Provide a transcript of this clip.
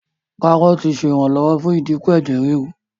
Kárọ́ọ̀tì ṣe iranlọwọ fún idínkù Ẹ̀jẹ̀ ríru.